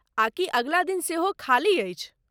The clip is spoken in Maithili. आ कि अगिला दिन सेहो खाली अछि?